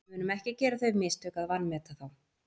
Við munum ekki gera þau mistök að vanmeta þá.